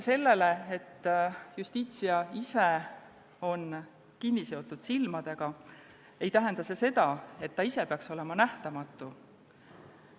See, et Justitia on kinniseotud silmadega, ei tähenda, et ta ise peaks olema nähtamatu.